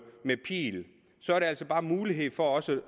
med pil så er der altså bare mulighed for også